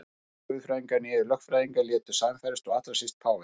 Hvorki guðfræðingar né lögfræðingar létu sannfærast og allra síst páfi.